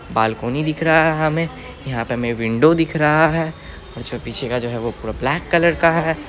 Balcony दिख रहा है हमें यहाँ पे हमें विंडो दिख रहा है और जो पीछे का जो है पूरा ब्लैक कलर का है।